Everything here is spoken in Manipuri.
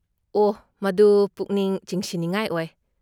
ꯑꯣꯍ, ꯃꯗꯨ ꯄꯨꯛꯅꯤꯡ ꯆꯤꯡꯁꯤꯟꯅꯤꯡꯉꯥꯏ ꯑꯣꯏ꯫